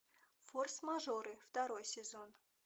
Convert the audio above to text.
форс мажоры второй сезон